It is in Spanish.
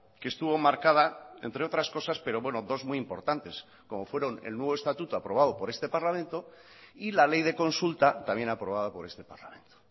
que estuvo marcada entre otras cosas pero bueno dos muy importantes como fueron el nuevo estatuto aprobado por este parlamento y la ley de consulta también aprobada por este parlamento